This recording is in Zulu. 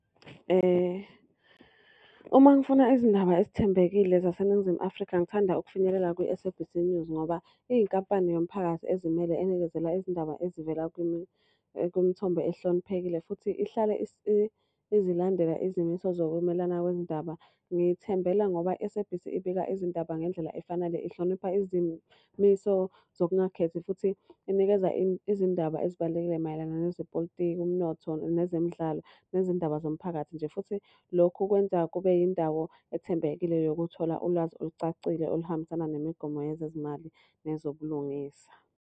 Uma ngifuna izindaba ezithembekile zaseNingizimu Afrika ngithanda ukufinyelela kwi-SABC News. Ngoba iyinkampani yomphakathi ezimele enikezela izindaba ezivela kwimithombo ehloniphekile futhi ihlale izilandela izimiso zokumelana kwezindaba. Ngithembela ngoba i-SABC ibika izindaba ngendlela efanele, ihlonipha izimiso zokungakhethi. Futhi inikeza izindaba ezibalulekile mayelana nezepolitiki, umnotho, nezemidlalo, nezindaba zomphakathi nje. Futhi lokhu kwenza kube yindawo ethembekile yokuthola ulwazi olucacile oluhambisana nemigomo yezezimali nezobulungisa.